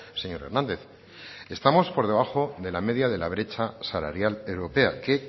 señor hernández estamos por debajo de la media de la brecha salarial europea que